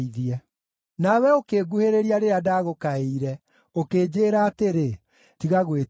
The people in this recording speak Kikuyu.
Nawe ũkĩnguhĩrĩria rĩrĩa ndagũkaĩire, ũkĩnjĩĩra atĩrĩ, “Tiga gwĩtigĩra.”